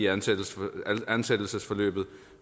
ansættelsen ansættelsen